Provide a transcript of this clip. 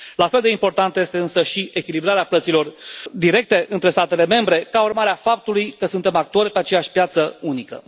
La fel de importantă este însă și echilibrarea plăților directe între statele membre ca urmare a faptului că suntem actori pe aceeași piață unică.